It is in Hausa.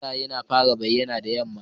Wata yana fara bayyana da yamma.